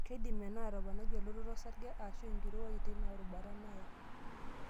Keidim ena atoponai elototo osarge aashu enkirowuaj teina rubata naya.